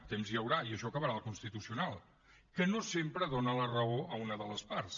temps n’hi haurà i això acabarà al constitucional que no sempre dona la raó a una de les parts